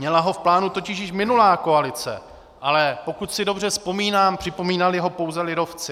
Měla ho v plánu totiž již minulá koalice, ale pokud si dobře vzpomínám, připomínali ho pouze lidovci.